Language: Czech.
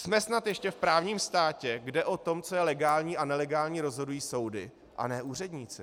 Jsme snad ještě v právním státě, kde o tom, co je legální a nelegální, rozhodují soudy, a ne úředníci.